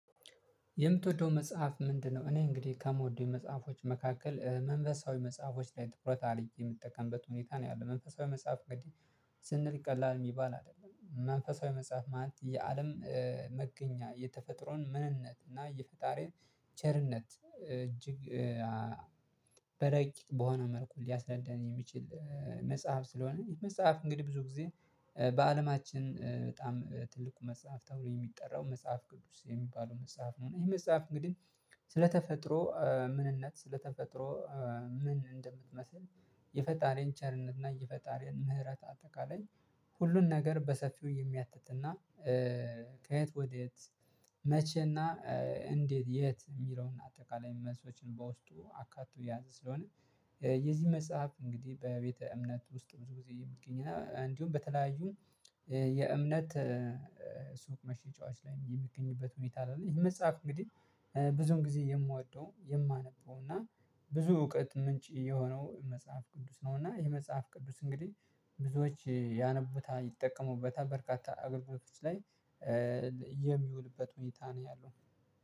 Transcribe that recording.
የምትወደው መጽሐፍ ምንድ ነው? እኔ እንግዲህ ከምወደው መጽሐፎች መካከል መንፈሳዊ መጽሐፎች ላይ ትኩረት አርጌ የምጠቀምበት ሁኔታ ነው ያለው። መንፈሳዊ መጽሐፍ ግድ ስንል ቀላል የሚባል አይደለም። መንፈሳዊ መጽሐፍ ማለት የአለም መገኛ የተፈጥሮን ምንነት እና የፈጣሪን ቸርነት እጅግ በረቂቅ በሆነ መልኩ ሊያስረዳኝ የሚችል መጽሐፍ ስለሆነ ይሄ መጽሐፍ እንግዲህ ብዙ ጊዜ በአለማችን በጣም ትልቁ መጽሐፍ ተብሎ የሚጠራው መጽሐፍ ቅዱስ የሚባለው መጽሐፍ ነው። ይሄ መጽሐፍ እንግዲህ ስለተፈጥሮ ምንነት፤ ስለተፈጥሮ ምን እንደምትመስል፤ የፈጣሪን ቸርነትና የፈጣሪን ምህረት በአጠቃላይ ሁሉን ነገር በሰፊው የሚያትትና ከየት ወዴት፤ መቼና እንዴት የት የሚለውን አጠቃላይ መልሶችን በውስጡ አካቶ የያዘ ስለሆነ የዚህ መጽሐፍ እንግዲህ በቤተ እምነት ውስጥ ብዙ ጊዜ የሚገኝ እንዲሁም በተለያዩ የእምነት ሱቅ መሸጫዎች ላይ የሚገኝበት ሁኔታ አለ። ይሄ መጽሐፍ እንግዲህ ብዙን ጊዜ የምወደው፤ የማነበው እና ብዙ የእውቀት ምንጭ የሆነው መጽሐፍ ቅዱስ ነው እና ይሄ መጽሐፍ ቅዱስ እንግዲህ ብዙዎች ያነቡታል ይጠቀሙበታል በርካታ አገልግሎቶች ላይ የሚውልበት ሁኔታ ነው ያለው።